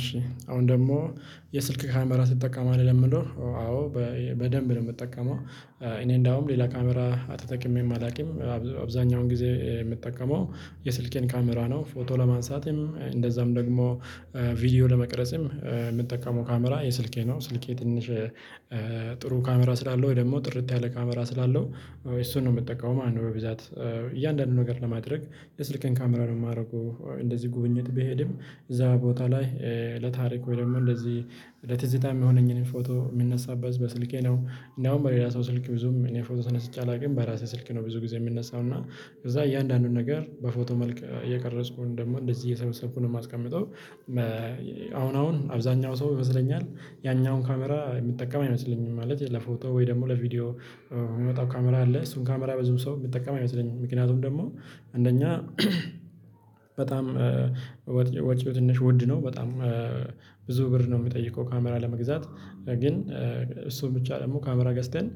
እሺ አሁን ደግሞ የስልክ ካሜራ ትጠቀማለህ ለሚለው አዎ በደንብ ነው የምጠቀመው። እኔ እንደውም ሌላ ካሜራ ተጠቅሜም አላውቅም። አብዛኛውን ጊዜ የምጠቀመው የስልኬን ካሜራ ነው። ፎቶ ለማንሳትም እንደዛም ደግሞ ቪዲዮ ለመቅረጽም የምጠቀመው ካሜራ የስልኬ ነው ስልኬ ትንሽጥሩ ካሜራ ስላለው ወይ ደግሞ ጥርት ያለ ካሜራ ስላለው እሱን ነው የምጠቀመው ማለት ነው። በብዛት እያንዳንዱን ነገር ለማድረግ የስልኬን ካሜራ ነው የማደርገው። እንደዚህ ጉብኝት ብሄድም እዛ ቦታ ላይ ለታሪክ ወይ ደግሞ እንደዚህ ለትዝታ የሚሆነኝን ፎቶ የምነሳበት በስልኬ ነው። እንዲያውም በሌላ ሰው ስልክ ብዙም እኔ ፎቶ ተነስቼ አላውቅም። በራሴ ስልክ ነው ብዙ ጊዜ የምነሳው። እና ከዛ እያንዳንዱን ነገር በፎቶ መልክ እየቀረጽኩወይም ደግሞ እንደዚህ እየሰበሰብኩ ነው የማስቀምጠው። መ አሁን አሁን አብዛኛው ሰው ይመስለኛል ያኛውን ካሜራ የሚጠቀም አይመስለኝም። ማለት ለፎቶ ወይ ደግሞ ለቪዲዮ የሚወጣው ካሜራ አለ እሱን ካሜራ በዙም ሰው የሚጠቀም አይመስለኝም። ምክንያቱም ደግሞ አንደኛ በጣም ወጪው ትንሽ ውድ ነው። በጣም ብዙ ብር ነው የሚጠይቀው። ካሜራ ለመግዛት ግን እሱን ብቻ ደግሞ ካሜራ ገዝተን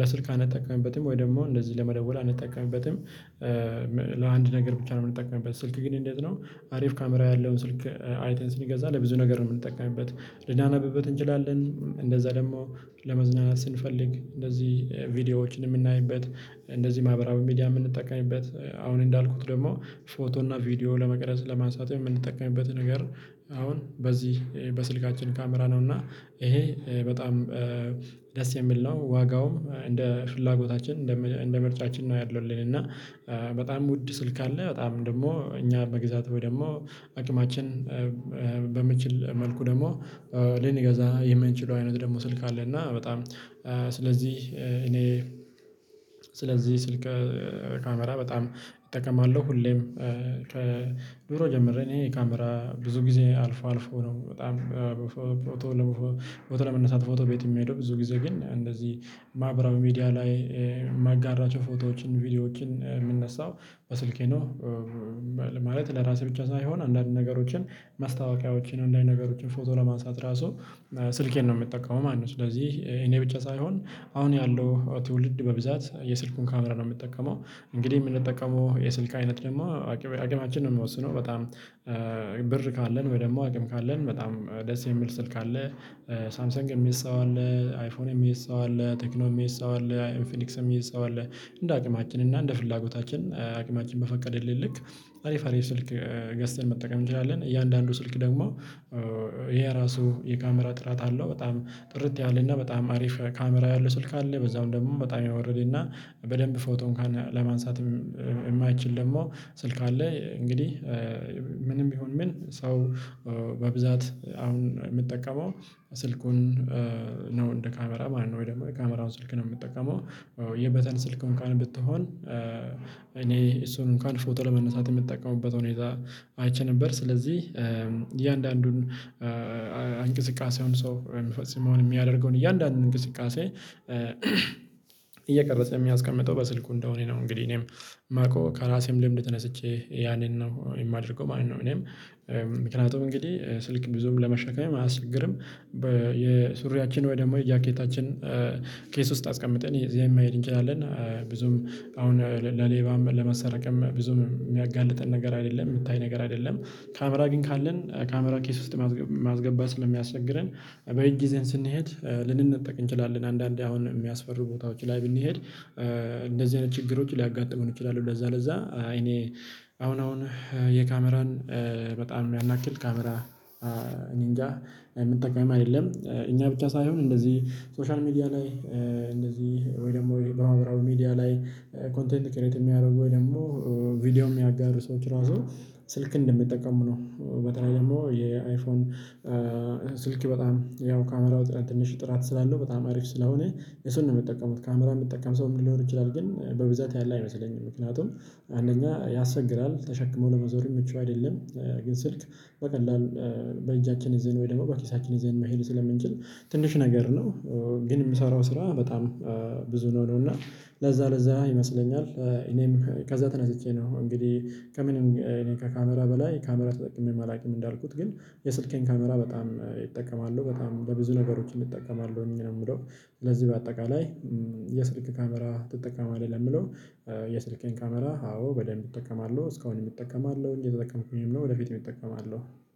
ለስልክ አንጠቀምበትም ወይ ደግሞ እንደዚህ ለመደወል አንጠቀምበትም። ለአንድ ነገር ብቻ ነው የምንጠቀምበት ስልክ ግን እንዴት ነው? አሪፍ ካሜራ ያለውን ስልክ አይተን ስንገዛ ለብዙ ነገር ነው የምንጠቀምበት ልናነብበት እንችላለን። እንደዛ ደግሞ ለመዝናናት ስንፈልግ እንደዚህ ቪዲዮዎችን የምናይበት እንደዚህ ማህበራዊ ሚዲያ የምንጠቀምበት። አሁን እንዳልኩት ደግሞ ፎቶ እና ቪዲዮ ለመቅረጽ ለማንሳት የምንጠቀምበት ነገር አሁን በዚህ በስልካችን ካሜራ ነው። እና ይሄ በጣም ደስ የሚል ነው። ዋጋውም እንደ ፍላጎታችን እንደ ምርጫችን ነው። ያሉልን እና በጣም ውድ ስልክ አለ በጣም ደግሞ እኛ መግዛት ወይ ደግሞ አቅማችን በሚችል መልኩ ደግሞ ልንገዛ የምንችለው አይነት ደግሞ ስልክ አለ። እና በጣም ስለዚህ እኔ ስለዚህ ስልክ ካሜራ በጣም እጠቀማለሁ። ሁሌም ከዱሮ ጀምሬ እኔ ካሜራ ብዙ ጊዜ አልፎአልፎ ነው። በጣም በፎ ፎቶ ፎቶ ለመነሳት ፎቶ ቤት የምሄደው ብዙ ጊዜ ግን እንደዚህ ማህበራዊ ሚዲያ ላይ ማጋራቸው ፎቶዎችን ቪዲዮዎችን የምነሳው በስልኬ ነው። ማለት ለራሴ ብቻ ሳይሆን አንዳንድ ነገሮችን ማስታወቂያዎችን አንዳንድ ነገሮችን ፎቶ ለማንሳት ራሱ ስልኬን ነው የምጠቀመው ማለት ነው። ስለዚህ እኔ ብቻ ሳይሆን አሁን ያለው ትውልድ በብዛት የስልኩን ካሜራ ነው የሚጠቀመው። እንግዲህ የምንጠቀመው የስልክ አይነት ደግሞ አቅ አቅማችን ነው የሚወስነው። በጣም ብር ካለን ወይ ደግሞ አቅም ካለን በጣም ደስ የሚል ስልክ አለ። ሳምሰንግ የሚይዝ ሰው አለ አይፎን የሚይዝ ሰው አለ ቴክኖ የሚይዝ ሰው አለ ኢንፊኒክስ የሚይዝ ሰው አለ። እንደ አቅማችን እና እንደ ፍላጎታችን አቅማችን በፈቀደልን ልክ አሪፍ አሪፍ ስልክ ገዝተን መጠቀም እንችላለን። እያንዳንዱ ስልክ ደግሞ የራሱ የካሜራ ጥራት አለው። በጣም ጥርት ያለና በጣም አሪፍ ካሜራ ያለው ስልክ አለ። በዛው ደግሞ በጣምየወረደና በደንብ ፎቶእንኳን ለማንሳትም የማይችል ደግሞ ስልክ አለ። እንግዲህ ምንም ቢሆን ምን ሰው በብዛት አሁን የሚጠቀመው ስልኩን ነው እንደ ካሜራ ማለት ነው። ወይ ደግሞ የካሜራውን ስልክ ነው የሚጠቀመው። የበተን ስልክ እንኳን ብትሆን እኔ እሱን እንኳን ፎቶ ለመነሳት የሚጠቀሙበት ሁኔታ አይቼ ነበር። ስለዚህ እያንዳንዱን እንቅስቃሴውን ሰው የሚፈጽመውን የሚያደርገውን እያንዳንዱን እንቅስቃሴ እየቀረጸ የሚያስቀምጠው በስልኩ እንደሆነ ነው። እንግዲህ እኔምየማውቀው ከራሴም ልምድ ተነስቼ ያንን ነው የማደርገው ማለት ነው። እኔም ምክንያቱም እንግዲህ ስልክ ብዙም ለመሸከም አያስቸግርም። በየሱሪያችን ወይ ደግሞ የጃኬታችን ኪስ ውስጥ አስቀምጠን ይዘን መሄድ እንችላለን። ብዙም አሁን ለሌባም ለመሰረቅም ብዙም የሚያጋልጠን ነገር አይደለም የሚታይ ነገር አይደለም። ካሜራ ግን ካለን ካሜራ ኪስ ውስጥ ማስገባት ስለሚያስቸግረን በእጅ ይዘን ስንሄድ ልንነጠቅ እንችላለን አንዳንዴ አሁን የሚያስፈሩ ቦታዎች ላይ ብንሄድ እንደዚህ አይነት ችግሮች ሊያጋጥሙን ይችላሉ። ለዛ ለዛአይ እኔ አሁን አሁን የካሜራን በጣም ያንያክል ካሜራ እኔ እንጃ የምጠቀምም አይደለም። እኛ ብቻ ሳይሆን እንደዚህ ሶሻል ሚዲያ ላይ እንደዚህ ወይ ደግሞ በማህበራዊ ሚዲያ ላይ ኮንተንት ክሬት የሚያደርጉወይ ደግሞ ቪዲዮ የሚያጋሩ ሰዎች ራሱ ስልክ እንደሚጠቀሙ ነው። በተለይ ደግሞ የአይፎንስልክ በጣም ያው ካሜራው ትንሽ ጥራት ስላለው በጣም አሪፍ ስላሁነ እሱን ነው የሚጠቀሙት ካሜራ የሚጠቀም ሰውም ሊኖር ይችላል። ግን በብዛት ያለ አይመስለኝም ምክንያቱም አንደኛ ያሰቸግራል ተሸክመው ለመዞርም ምቹ አይደለም። ግን ስልክ በቀላል በእጃችን ይዘን ወይ ደግሞ በኪሳችን ይዘን መሄድ ስለምንችል ትንሽ ነገር ነው። ግን የምሰራው ስራ በጣም ብዙ ነው ነው። እና ለዛ ለዛ ይመስለኛል እኔም ከዛ ተናስቼ ነው እንግዲህ ከምንም እኔ ከካሜራ በላይ ካሜራ ተጠቅሜ አላውቅም። እንዳልኩት ግን የስልኬን ካሜራ በጣም እጠቀማለሁ። በጣም ለብዙ ነገሮች እንጠቀማለን ነውምለው ስለዚህ በአጠቃላይ የስልክ ካሜራ ትጠቀማለህ ለሚለው የስልኬን ካሜራ አዎ በደንብ እጠቀማለሁ እስካሁንም እጠቀማለሁ እየ ተጠቀምኩኝም ነው። ወደፊት እጠቀማለሁ።